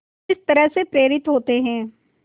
किस तरह से प्रेरित होते हैं